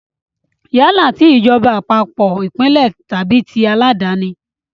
Yálà ti ìjọba àpapọ̀, ìpínlẹ̀ tàbí tí aláàdáni.